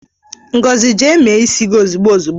Ngozi! jee mee isi gi ozigbo ozigbo!